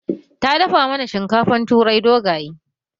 Ta dafa mana shinkafan turai dogaye